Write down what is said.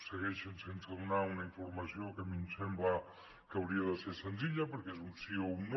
segueixen sense donar una informació que a mi em sembla que hauria de ser senzilla perquè és un sí o un no